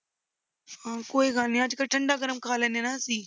ਹਾਂ ਕੋਈ ਗੱਲ ਨੀ ਅੱਜ ਕੱਲ੍ਹ ਠੰਢਾ ਗਰਮ ਖਾ ਲੈਂਦੇ ਨਾ ਅਸੀਂ।